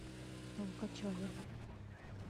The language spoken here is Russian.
толкачеве